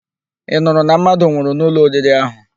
Ị nụrụ na mmadụ nwụrụ n'ụlọ oriri ahụ?